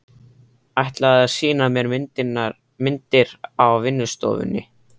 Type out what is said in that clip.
Ætlaði að sýna mér myndir á vinnustofunni.